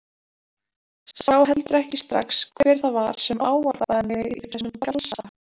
Sá heldur ekki strax hver það var sem ávarpaði mig í þessum galsa.